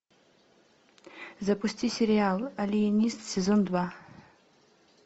запусти сериал алиенист сезон два